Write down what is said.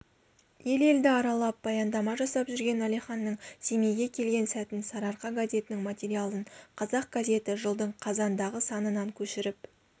ел-елді аралап баяндама жасап жүрген әлиханның семейге келген сәтін сарыарқа газетінің материалын қазақ газеті жылдың қазандағы санынан көшіріп